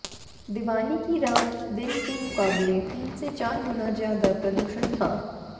दिवाली की रात दिन के मुकाबले तीन से चार गुना ज्यादा प्रदूषण था